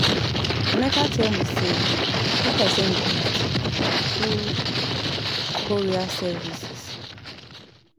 Emeka tell me say make I send gift through courier services